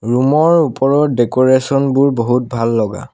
Room ৰ ওপৰত decoration বোৰ বহুত ভাল লগা।